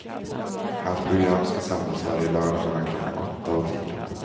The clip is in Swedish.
Hans program ska sändas varje lördag mellan klockan åtta och tio.